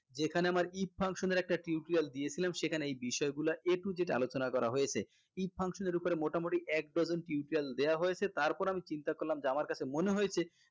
যেখানে আমার if function এর একটা tutorial দিয়েছিলাম সেখানে এই বিষয় গুলা A to Z আলোচনা করা হয়েছে if function এর উপর মোটামুটি এক dozen tutorial দেয়া হয়েছে তারপরেওআমি চিন্তা করলাম যে আমার কাছে মনে হয়েছে